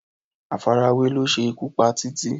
Àfarawé ló ṣe ikú pa Títí